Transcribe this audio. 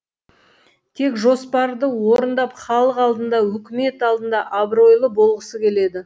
тек жоспарды орындап халық алдында үкімет алдында абыройлы болғысы келеді